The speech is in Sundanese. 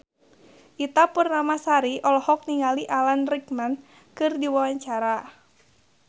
Ita Purnamasari olohok ningali Alan Rickman keur diwawancara